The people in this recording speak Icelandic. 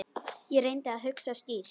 Ég reyndi að hugsa skýrt.